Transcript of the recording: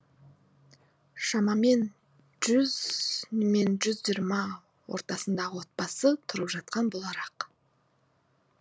шамамен жүз мен жүз жиырма ортасындағы отбасы тұрып жатқан болар ақ